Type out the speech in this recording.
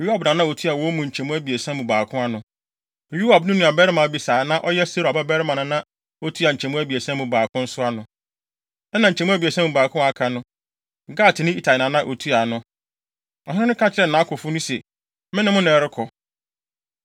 Yoab na na otua wɔn mu nkyemu abiɛsa mu baako ano. Yoab nuabarima Abisai a na ɔyɛ Seruia babarima na na otua nkyemu abiɛsa mu baako nso ano. Ɛnna nkyemu abiɛsa mu baako a aka no, Gatni Itai na na otua ano. Ɔhene no ka kyerɛɛ nʼakofo no se, “Me ne mo na ɛrekɔ.”